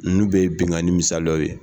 Ninnu bɛ ye binkani misaliyaw ye.